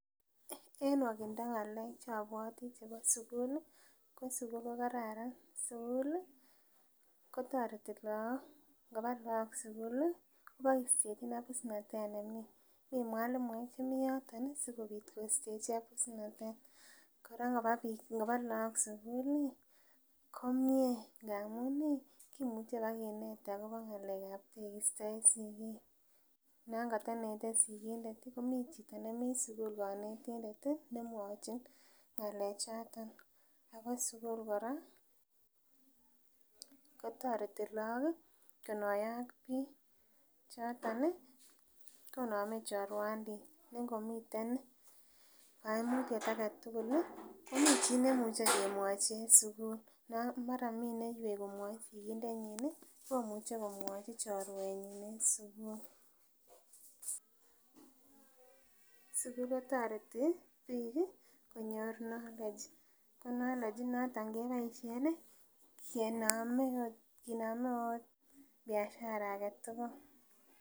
En nwokindo ng'alek chobwoti chebo sukul ih ko sugul ko kararan, sukul ih kotoreti look, ngoba look sukul ih kobokistechin abusnatet nemii mii mwalimuek chemii yoton ih sikobit kostechi abusnatet kora koba biik ngoba look sukul ih komie amun ih kimuche bakinet akobo ng'alek ab tegisto en sigik non kotonete sigindet ih komii chito nemii sukul konetindet ih nemwochin ng'alek choton ako sukul kora kotoreti look ih konoiyo ak biik choton ih konome chorwandit ne ngomiten koimutyet aketugul ih komii chii nemuche kemwochi en sukul non mara mi neywei komwoi sigindet komuche komwoi chorwetnyin en sukul. Sukul kotoreti biik ih konyor [knowledge cs] ko knowledge inoton ih keboisien ih kenome kinome ot biashara aketugul